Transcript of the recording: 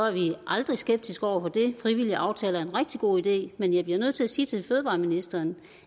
aldrig skeptiske over for det frivillige aftaler er en rigtig god idé men jeg bliver nødt til at sige til fødevareministeren